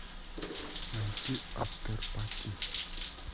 найти афтер пати